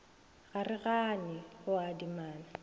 ga re gane go adimana